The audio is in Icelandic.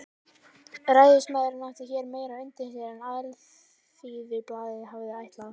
Ræðismaðurinn átti hér meira undir sér en Alþýðublaðið hafði ætlað.